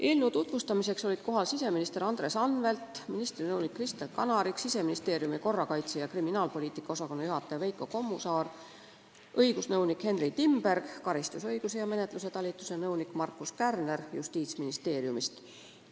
Eelnõu tutvustamiseks olid kohal siseminister Andres Anvelt, ministri nõunik Kristen Kanarik, Siseministeeriumi korrakaitse- ja kriminaalpoliitika osakonna juhataja Veiko Kommusaar ja õigusnõunik Henry Timberg, samuti karistusõiguse ja menetluse talituse nõunik Markus Kärner Justiitsministeeriumist.